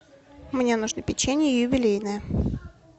мне нужно печенье юбилейное